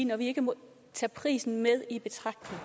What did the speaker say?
når vi ikke må tage prisen med i betragtning